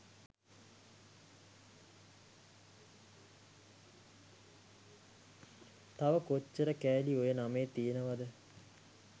තව කොච්චර කෑලි ඔය නමේ තියනවද?